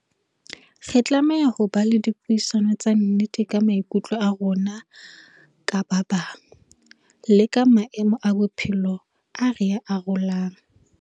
Re tlameha ho ba le dipuisano tsa nnete ka maikutlo a rona ka ba bang, le ka maemo a bophelo a re arolang.